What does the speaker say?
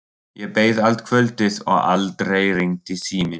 Ég beið allt kvöldið og aldrei hringdi síminn.